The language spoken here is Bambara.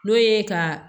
N'o ye ka